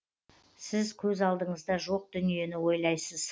сіз көз алдыңызда жоқ дүниені ойлайсыз